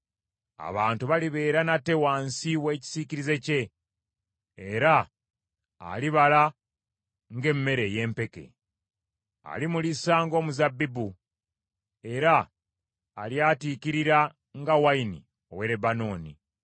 Abantu balibeera nate wansi w’ekisiikirize kye, era alibala ng’emmere ey’empeke. Alimulisa ng’omuzabbibu, era alyatiikirira nga wayini ow’e Lebanooni.